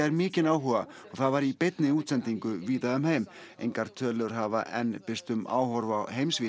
mikinn áhuga og það var í beinni útsendingu víða um heim engar tölur hafa enn birst um áhorf